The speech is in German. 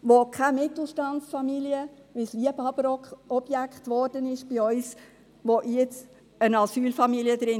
Weil es bei uns ein Liebhaberobjekt wurde, das sich keine Mittelstandsfamilie leisten kann, ist jetzt eine Asylfamilie drin.